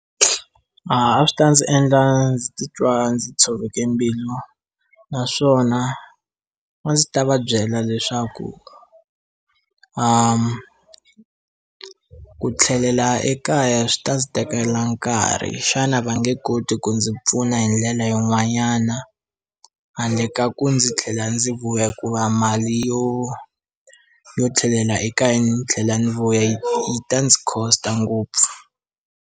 A swi ta ndzi endla ndzi titwa ndzi tshoveke mbilu naswona a ndzi ta va byela leswaku a ku tlhelela ekaya swi ta ndzi tekela nkarhi xana va nge koti ku ndzi pfuna hi ndlela yin'wanyana handle ka ku ndzi tlhela ndzi vuya hikuva mali yo yo tlhelela eka hi ndzi tlhela ndzi vo yi ta ndzi cost-a ngopfu.